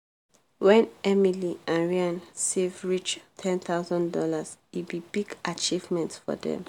when emily and ryan save reach one thousand dollars0 e be big achievement for them.